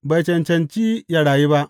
Bai cancanci yă rayu ba!